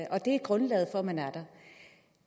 og det er grundlaget for at man er her